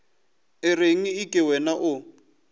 o reng eke wena o